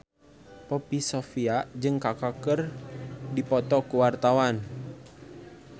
Poppy Sovia jeung Kaka keur dipoto ku wartawan